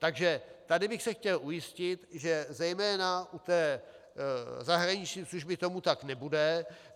Takže tady bych se chtěl ujistit, že zejména u té zahraniční služby tomu tak nebude.